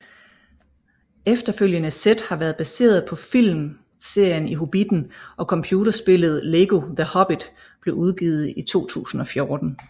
Efterfølgende sæt har været baseret på filmserien Hobbitten og computerspillet Lego The Hobbit blev udgivet i 2014